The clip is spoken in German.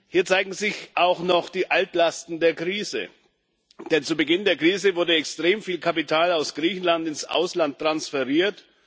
Hier zeigen sich auch noch die Altlasten der Krise, denn zu Beginn der Krise wurde extrem viel Kapital aus Griechenland ins Ausland transferiert.